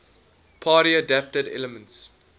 party adapted elements